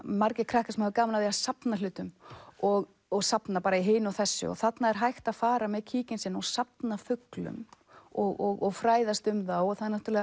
margir krakkar hafa gaman af því að safna hlutum og og safna hinu og þessu þarna er hægt að fara með kíkinn sinn og safna fuglum og fræðast um þá